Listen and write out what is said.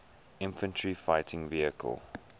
infantry fighting vehicle